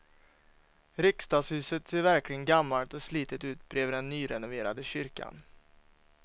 Riksdagshuset ser verkligen gammalt och slitet ut bredvid den nyrenoverade kyrkan.